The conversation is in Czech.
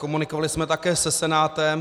Komunikovali jsme také se Senátem.